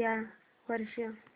या वर्षी